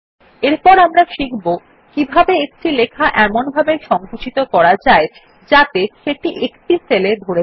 এরপর আমরা শিখব কিভাবে একটি লেখা এমনভাবে সঙ্কুচিত করা যায় যাতে সেটি একটি সেলে ধরে যায়